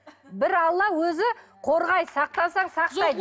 бір алла өзі қорғайды сақтансаң сақтайды